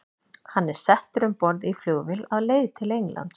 Hann er settur um borð í flugvél á leið til Englands.